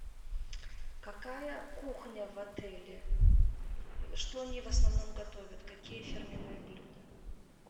какая кухня в отеле что они в основном готовят какие фирменные блюда